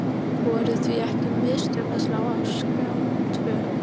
Voru því ekki mistök að slá af Skjá tvo?